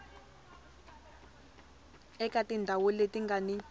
eka tindhawu leti nga ni